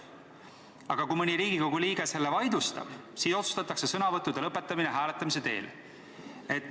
Aga kui mõni Riigikogu liige selle vaidlustab, siis otsustatakse sõnavõttude lõpetamine hääletamise teel.